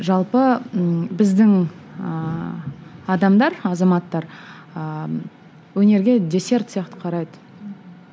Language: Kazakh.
жалпы ммм біздің ыыы адамдар азаматтар ыыы өнерге десерт сияқты қарайды